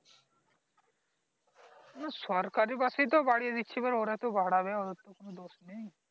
হ্যাঁ সরকারি bus এ তো বারিয়ে দিচ্ছে ওরা তো বারাবে ওরা তো কোনো দোষ নেই